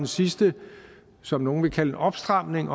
sidste som nogle vil kalde en opstramning